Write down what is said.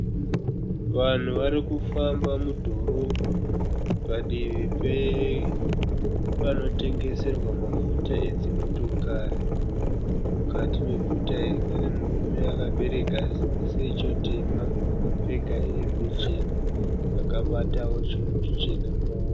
Vanhu varikufamba mudhorobha, padivi pepanotengeserwa mafuta edzimotokari. Mukati meguta iri pane murume akabereka secho tema akapfeka hembe chena, akabatawo chinhu chichena mumaoko.